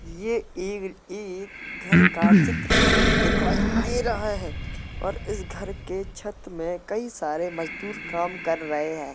ये एग - एक घर का चित्र दिखाई दे रहा है और इस घर के छत में कई सारे मजदूर काम कर रहे हैं ।